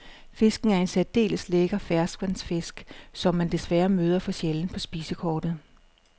Fisken er en særdeles lækker ferskvandsfisk, som man desværre møder for sjældent på spisekortet.